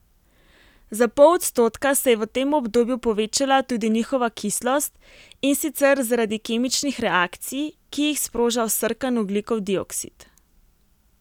Za pol odstotka se je v tem obdobju povečala tudi njihova kislost, in sicer zaradi kemičnih reakcij, ki jih sproža vsrkan ogljikov dioksid.